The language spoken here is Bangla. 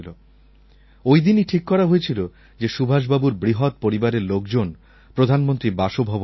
ওই দিনই ঠিক করা হয়েছিল যে সুভাষবাবুর বৃহৎ পরিবারের লোকজন প্রধানমন্ত্রীর বাসভবনে আসবেন